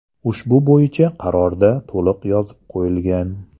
Ushbu bo‘yicha qarorda to‘liq yozib qo‘yilgan.